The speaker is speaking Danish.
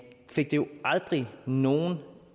fik det jo aldrig nogen